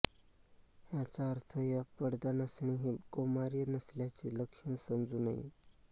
याचा अर्थ या पडदा नसणे हे कौमार्य नसल्याचे लक्षण समजू नये